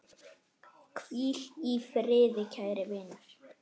Hvíl í friði kæri vinur.